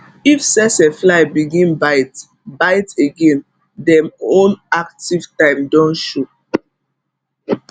if tsetse fly begin bite bite again dem own active time don show